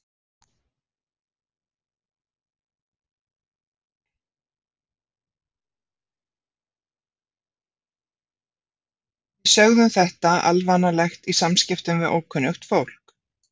Við sögðum þetta alvanalegt í samskiptum við ókunnugt fólk.